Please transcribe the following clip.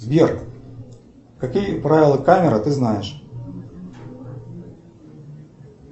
сбер какие правила камеры ты знаешь